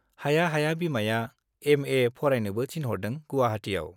हाया हाया बिमाया एमए फरायनोबो थिनहरदों गुवाहाटीयाव।